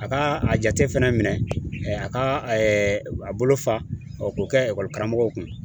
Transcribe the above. A ka a jate fɛnɛ minɛn a ka a bolo fa k'o kɛ ekɔlikaramɔgɔw kun